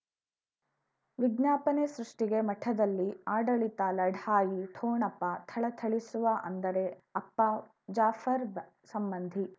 ವಿಜ್ಞಾಪನೆ ಸೃಷ್ಟಿಗೆ ಮಠದಲ್ಲಿ ಆಡಳಿತ ಲಢಾಯಿ ಠೊಣಪ ಥಳಥಳಿಸುವ ಅಂದರೆ ಅಪ್ಪ ಜಾಫರ್ ಸಂಬಂಧಿ